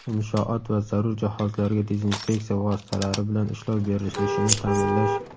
inshoot va zarur jihozlarga dezinfeksiya vositalari bilan ishlov berilishini ta’minlash;.